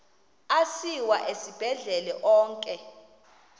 asiwa esibhedlele onke